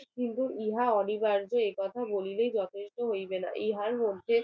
কিন্তু ইহা অনিবার্য একথা বললে যথেষ্ট হইবে না ইহার মধ্যে